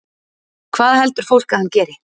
Hvað heldur fólk að hann geri?